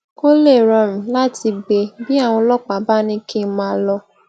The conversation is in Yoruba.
ko lè rorun lati gbe bí àwọn ọlópàá bá ní kí n maa lo